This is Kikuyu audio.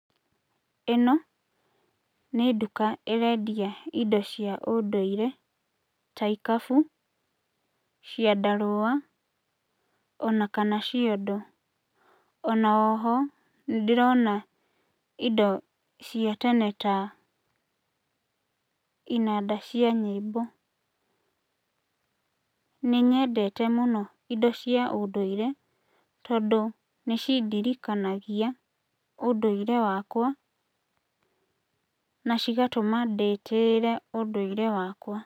Ĩno nĩ nduka ĩrendia indo cia ũndũire ta ikabũ, ciandarũa ona kana ciondo. Ona oho nĩndĩrona indo cia tene ta inanda cia nyĩmbo. Nĩ nyendete mũno indo cia ũndũire tondũ nĩcindirikanagia ũndũire wakwa, na cigatũma ndĩtĩĩre ũndũire wakwa.